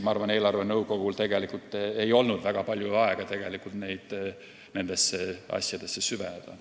Ma arvan, et eelarvenõukogul ei olnud siis tegelikult väga palju aega nendesse asjadesse süveneda.